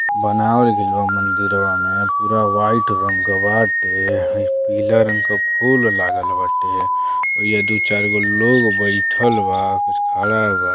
बनावल गइल बा मंदिरवा में पूरा वाइट रंग का वाटे है। पीला रंग के फूल लागल वाटे। ऐजा दू चार गो लोग बेठल बा। कुछ खड़ा बा।